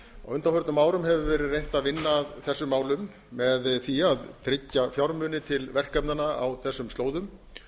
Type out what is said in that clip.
á undanförnum árum hefur verið reynt að vinna að þessum málum með því að tryggja fjármuni til verkefnanna á þessum slóðum